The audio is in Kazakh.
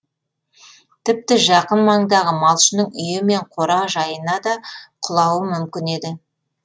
тіпті жақын маңдағы малшының үйі мен қора жайына да құлауы мүмкін еді